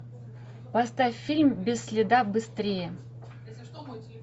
поставь фильм без следа быстрее